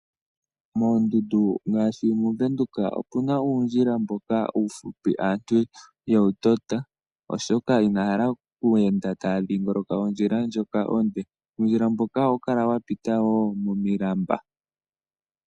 Moondundu ngaashi mOvenduka omu na uundjila mboka uufupi, mboka aantu ye wu tota, oshoka inaya hala oku enda taya dhingoloka ondjila ndjoka onde. Uundjila mboka ohawu kala wa pita wo momilamba.